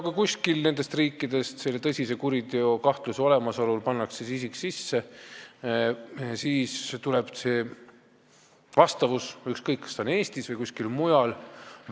Kui kuskil nendes riikides pannakse tõsise kuriteo kahtlusega isik sinna sisse, siis tuleb vastavus välja – ükskõik, kas ta on Eestis või kuskil mujal.